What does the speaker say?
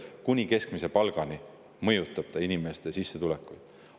Kuni keskmise palgani mõjutab see inimeste sissetulekut.